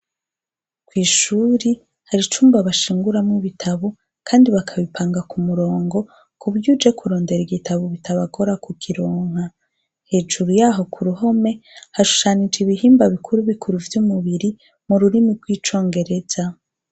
Kw'ishuri hari icumba bashinguramwo ibitabo kandi bakabipanga ku murongo kuburyo uje kurondera igitabo bitabagora kukironka. Hejuru yaho ku ruhome, hashushanije ibihimba bikuru bikuru vy'umubiri mu rurimi rw'icongereza.